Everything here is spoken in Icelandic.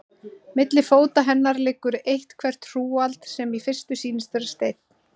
Milli fóta hennar liggur eitthvert hrúgald, sem í fyrstu sýnist vera steinn.